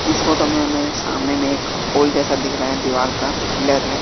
इस फोटो में हमें सामने में एक पुल जैसा दिख रहा है दीवार का पिलर है।